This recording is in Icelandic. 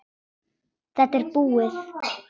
Þetta er búið.